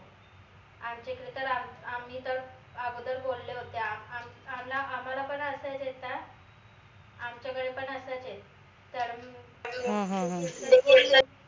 आमच्या इकडे त आम्ही त अगोदर बोलले होते आमला आम्हाला पण अस आमच्या वेळे पण असच ए तर